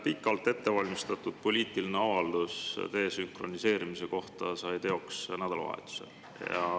Pikalt ettevalmistatud desünkroniseerimise poliitiline avaldus sai teoks nädalavahetusel.